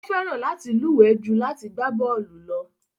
Ó fẹ́ràn láti luwe ju láti gbá bọ́ọlù lọ.